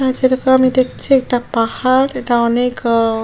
অ্যা যেরকম আমি দেখছি এটা পাহাড় এটা অনেক আ--